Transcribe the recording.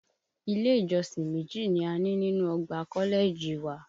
Ilé ìjọsìn méjì ni a ní nínú ọgbà kọ́lẹ́ẹ̀jì wa